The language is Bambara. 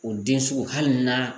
O den sugu hali n'a